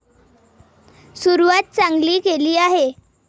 सुरुवात चांगली केली आहे.